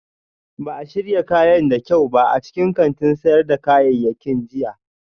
Ba a shirya kayan da kyau ba a cikin kantin sayar da kayayyaki jiya